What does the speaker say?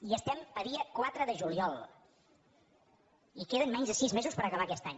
i estem a dia quatre de juliol i queden menys de sis mesos per acabar aquest any